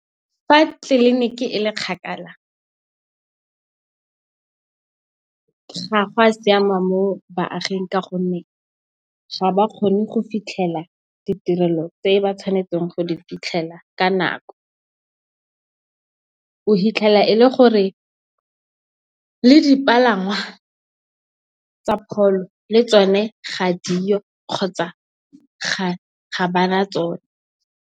Fa tliniki e le kgakala ga gwa siama mo baaging ka gonne ga ba kgone go fitlhelela ditirelo tse ba tshwanetseng go di fitlhelela ka nako. O fitlhela e le gore le dipalangwa tsa pholo le tsone ga diyo kgotsa ga bana tsone.